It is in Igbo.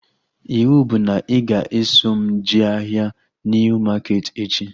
Ịwụ bụ na ị ga-eso m jee ahịa Niu maketi echi